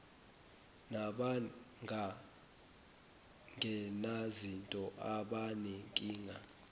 naban genazinto abanenkinga